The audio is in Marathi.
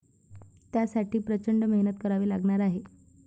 त्यासाठी प्रचंड मेहनत करावी लागणार आहे.